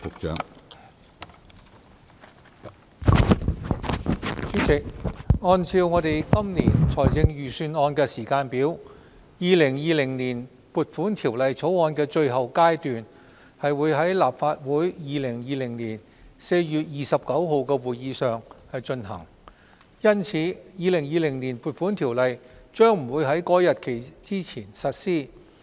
主席，按照今年財政預算案的時間表，《2020年撥款條例草案》的最後階段將於2020年4月29日的立法會會議上進行，因此《2020年撥款條例》將不會於該日期前實施。